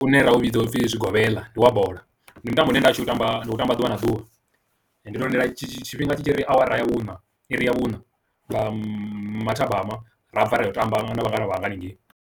Une ra u vhidza upfhi zwigobeḽa ndi wa bola ndi mutambo une nda u tamba u tamba ḓuvha na ḓuvha, ndi to lindela tshifhinga tshi tshi ri awara ya vhuna iri ya vhuna nga mathabama ra abva ra ya u tamba na vhangana vhanga haningei.